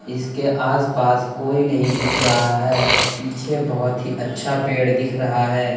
इसके आसपास कोई नहीं दिख रहा है। पीछे बहुत ही अच्छा पेड़ दिख रहा है।